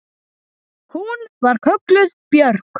Hún var kölluð Björg.